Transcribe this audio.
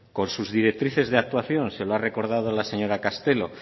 con sus directrices de actuación se lo ha recordado la señora castelo